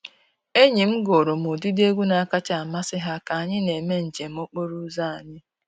Enyi m gụụrụ m ụdịdị egwu na-akacha amasị ha ka anyị na-eme njem okporo ụzọ anyị.